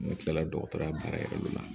Ne kila la dɔgɔtɔrɔya baara yɛrɛ la